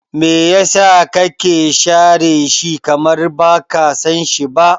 Me yasa kake share shi, kamar baka sanshi ba?